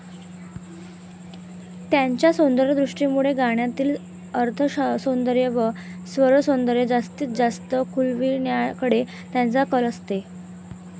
त्यांच्या सौंदर्यदृष्टीमुळे गाण्यातील अर्थसौंदर्य व स्वरसौंदर्य जास्तीत जास्त खुलविण्याकडे त्यांचा कल असे.